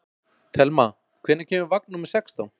Thelma, hvenær kemur vagn númer sextán?